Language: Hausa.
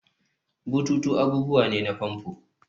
bututu abubuwa ne na famfo